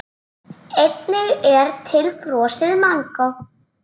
Einnig er til frosið mangó.